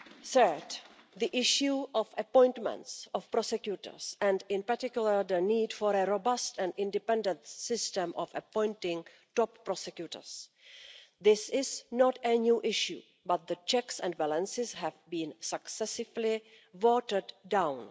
Third, the issue of appointments of prosecutors and, in particular, the need for a robust and independent system of appointing top prosecutors this is not a new issue but the checks and balances have been successively watered down.